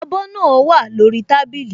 Abọ́ náà wà lórí tábìlì